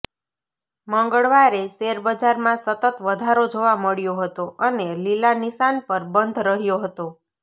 મંગળવારે શેરબજારમાં સતત વધારો જોવા મળ્યો હતો અને લીલા નિશાન પર બંધ રહ્યો હતો